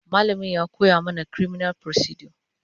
malamain ya ko ya mana criminal procedure